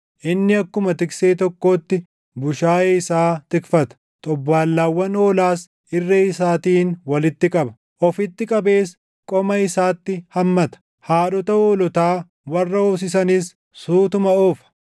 Inni akkuma tiksee tokkootti bushaayee isaa tikfata; xobbaallaawwan hoolaas irree isaatiin walitti qaba; ofitti qabees qoma isaatti hammata; haadhota hoolotaa warra hoosisanis suutuma oofa.